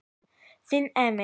Þinn Emil.